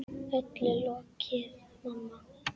Öllu lokið, mamma.